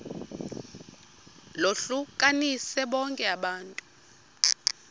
lohlukanise bonke abantu